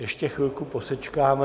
Ještě chvilku posečkáme.